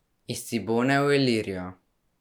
Iz Cibone v Ilirijo ...